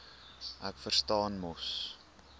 ek verstaan mos